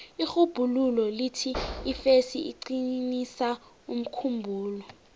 irhubhululo lithi ifesi iqinisa umkhumbulo